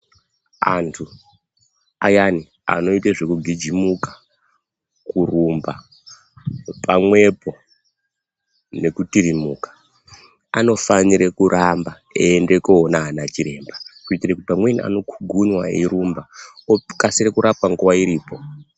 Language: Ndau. Antu ayani anoita zvekugijimuka, kurumba pamwepo nekutirimuka, anofanire kuramba eienda koona anachiremba, kuitira kuti pamweni anokhugunwa eirumba okasira kurapwa nguwa iripo.